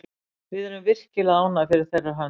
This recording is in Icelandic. Við erum virkilega ánægð fyrir þeirra hönd.